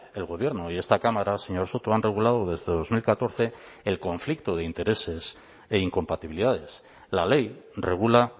el gobierno y esta cámara señor soto han regulado desde dos mil catorce el conflicto de intereses e incompatibilidades la ley regula